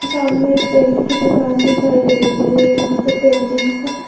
सामने एक पेंट की दुकान दिखाई दे रही हैं। यहां पे पेंटिंग का--